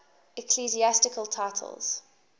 ecclesiastical titles